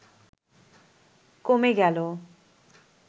কমে গেল